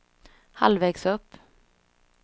halvvägs upp